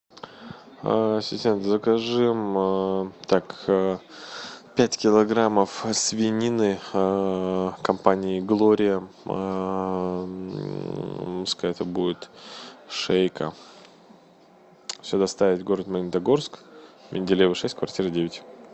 ассистент закажи так пять килограммов свинины компании глория пускай это будет шейка все доставить в город магнитогорск менделеева шесть квартира девять